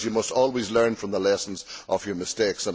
You must always learn from the lessons of your mistakes.